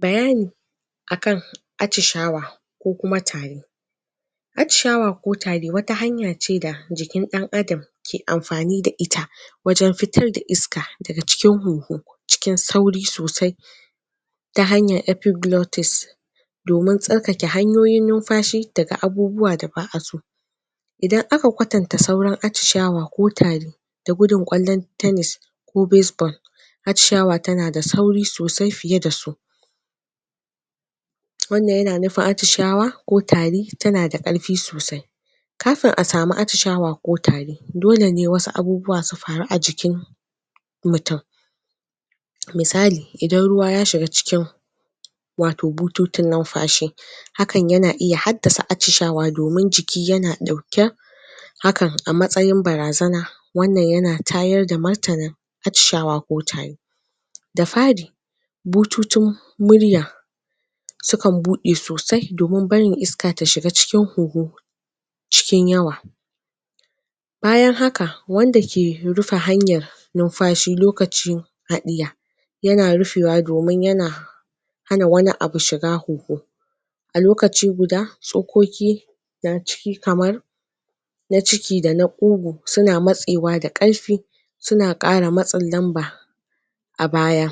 Bayani akan atcishawa attishawa ko kuma tari. Attishawa ko tari hanya ce da jikin dan Adam Attishawa ko tari wata hanya ne da dan Adam ke amfani da ita wajen fitar da iska daga cikin kugu, cikin sauri sosai ta hanyan epiglotis domin tsarkare hanyoyin numfashi daga abubuwa da ba a so. Idan aka kwatanta saurin attishawa ko tari, da gudun kwallon tenis, ko baseball ko baseball, attishawa na da sauri sosai fiye da su. Wannan yana nufin attishawa ko tari ta na da karfi. Kafin a samu attishawa ko tari, dole ne wasu abubuwa su Kafin a samu attishawa ko tari, dole ne wasu abubuwa su faru a jikin mutum. Misali, idan ruwa ya shiga cikin wato bututun numfashi, hakan yana iya, haddasa attishawa domin jiki yana dauken hakan a matsayin barazana. Wannan ya tayar da martannan attishawa ko tari. Da fari, bututun murya sukan bude sosai domin barin iska ta shiga cikin kugun, cikin yawa. Bayan haka, wanda ke rufe hanyar numfashi lokacin yana rufewa domin yana hana wani abu shiga kugun. A lokaci guda, sokoki daga ciki kamar na ciki da na kugu suna matsewa da karfi suna kara matsan suna kara matsan lamba a baya.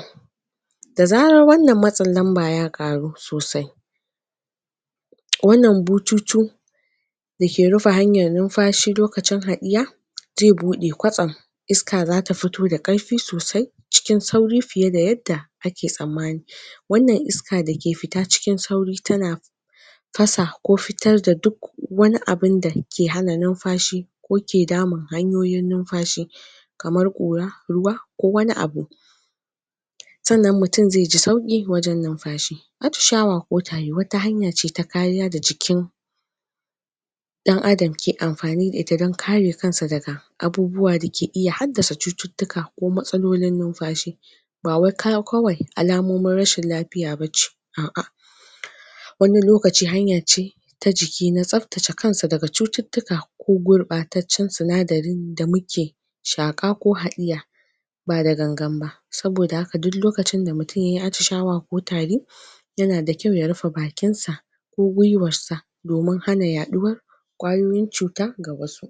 Dazaran wannan matsan lamba ya karu sosai, wannan bututun da ke rufe hanyan numfashi lokacin haniya zai bude kwatsam. Iska zata fito da karfi sosai cikin sauri fiye da yada ake sammani. Wannan iska dake fita cikin sauri tana fasa ko fitar da duk wani abunda ke hana numfashi ko ke damun hanyoyin numfashi kamar kura kuma, ko wani abu; kamar kura kuma, ko wani abu. sannan mutum zai ji sauki wajen numfashi. Attishawa ko tari wata hanya ce ta kariya da jikin dan Adam ke amfani da ita don kare kansa daga abubuwa da ke iya, hadda su cututtuka ko matsalolin numfashi, ba wai kaya, kawai alamomin rashin lafiya ba ce. A a! Wani lokaci hanya ce ka jiki na tsabtacce kansa daga cututtuka ko gurbataccen sunadari da muke shaka ko halliya. shaka ko hadiya ba da gangan ba Saboda haka, duk lokacin da mutum yayi attishawa ko tari, yana da kyau ya rufe bakin sa ko gwiwar sa domin hana yaduwar kwayoyin cuta kamar su